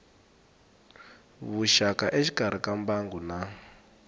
vuxaka exikarhi ka mbangu na